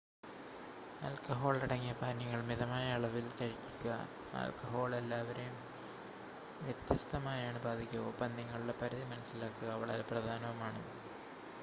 ആൽക്കഹോളടങ്ങിയ പാനീയങ്ങൾ മിതമായ അളവിൽ കഴിക്കുക ആൽക്കഹോൾ എല്ലാവരെയും വ്യത്യസ്തമായാണ് ബാധിക്കുക ഒപ്പം നിങ്ങളുടെ പരിധി മനസ്സിലാക്കുക വളരെ പ്രധാനവുമാണ്